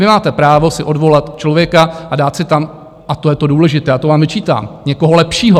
Vy máte právo si odvolat člověka a dát si tam - a to je to důležité a to vám vyčítám - někoho lepšího.